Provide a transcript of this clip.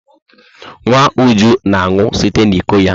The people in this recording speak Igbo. Nwa Uju na-aṅụ site n'iko ya.